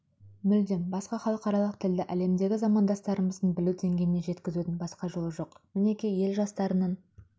мүлдем басқа халықаралық тілді әлемдегі замандастарымыздың білу дейгейіне жеткізудің басқа жолы жоқ мінеки ел жастарының